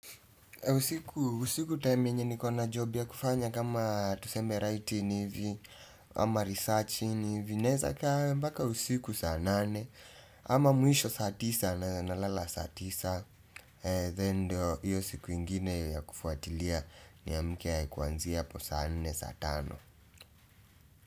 Usiku time yenye ni kona job ya kufanya kama tuseme writing hivi ama researching hivi naweza kaa mbaka usiku saa nane ama mwisho saa tisa na nalala saa tisa. Then ndo hiyo siku ingine ya kufuatilia ni amke kuanzia hapo saa nne saa tano.